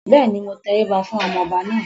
Bẹ́ẹ̀ni, mo tẹríba fún ọmọ ọba náà